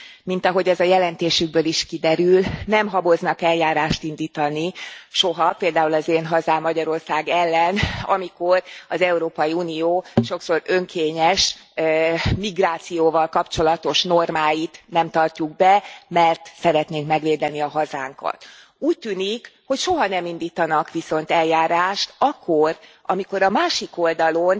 Mint ahogy az a jelentésükből is kiderül, nem haboznak eljárást indítani soha, például az én hazám, Magyarország ellen, amikor az Európai Unió sokszor önkényes migrációval kapcsolatos normáit nem tartjuk be, mert szeretnénk megvédeni a hazánkat. Úgy tűnik, hogy soha nem indítanak viszont eljárást akkor, amikor a másik oldalon